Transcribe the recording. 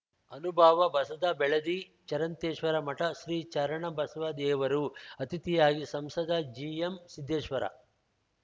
ಅನುಭಾವ ಬಸವ ಬೆಳದಿ ಚರಂತೇಶ್ವರ ಮಠ ಶ್ರೀ ಶರಣ ಬಸವದೇವರು ಅತಿಥಿಯಾಗಿ ಸಂಸದ ಜಿಎಂಸಿದ್ದೇಶ್ವರ